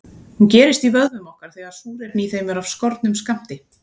Hún gerist í vöðvum okkar þegar súrefni í þeim er af skornum skammti.